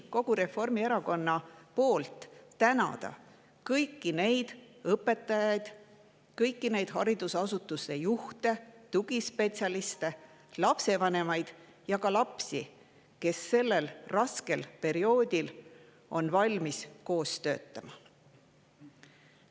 Reformierakonna nimel soovin tänada kõiki neid õpetajaid, kõiki neid haridusasutuste juhte, tugispetsialiste, lapsevanemaid ja ka lapsi, kes on valmis sellel raskel perioodil koos töötama.